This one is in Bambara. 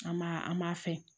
An m'a an m'a fɛn